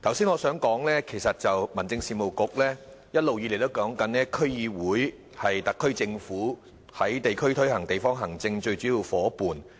我剛才想說，民政事務局一直表示，區議會是特區政府在地區推行地方行政的最主要夥伴。